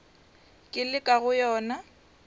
ke le ka go yona